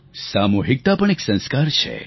સામૂહિકતા પણ એક સંસ્કાર છે